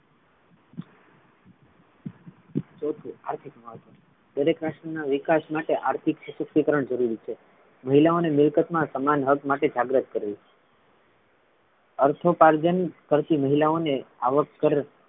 ચોથું આર્થિક મહત્વ, દરેક પ્રશ્નના વિકાસ માટે આર્થિક સશક્તિકરણ જરૂરી છે મહિલાઓ ને મિલકત મા સમાન હક માટે જાગૃત કરે છે અર્થોપાર્જન કરતી મહિલાઓને આવક પર,